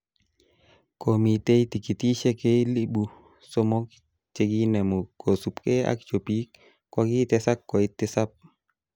Komitei tikitishek elibu somok chekenamu kosubkei ak chopik kokitesak koit tisap